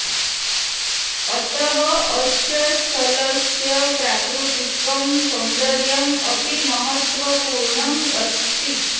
अतः अस्य स्थलस्य प्राकृतिकं सौन्दर्यम् अपि महत्त्वपूर्णम् अस्ति